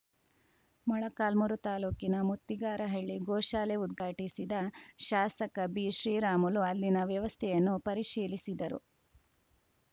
ಮೊಳಕಾಲ್ಮುರು ತಾಲೂಕಿನ ಮುತ್ತಿಗಾರಹಳ್ಳಿ ಗೋಶಾಲೆ ಉದ್ಘಾಟಿಸಿದ ಶಾಸಕ ಬಿಶ್ರೀರಾಮುಲು ಅಲ್ಲಿನ ವ್ಯವಸ್ಥೆಯನ್ನು ಪರಿಶೀಲಿಸಿದರು